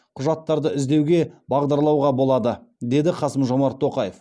құжаттарды іздеуге бағдарлауға болады деді қасым жомарт тоқаев